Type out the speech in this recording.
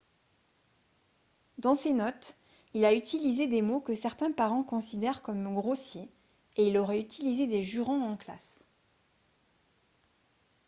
dans ses notes il a utilisé des mots que certains parents considèrent comme grossiers et il aurait utilisé des jurons en classe